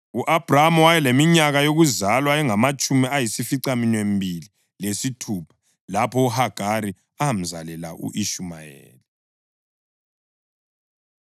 U-Abhrama wayeleminyaka yokuzalwa engamatshumi ayisificaminwembili lesithupha lapho uHagari emzalela u-Ishumayeli.